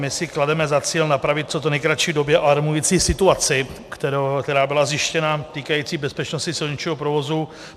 My si klademe za cíl napravit v co nejkratší době alarmující situaci, která byla zjištěna, týkající bezpečnosti silničního provozu.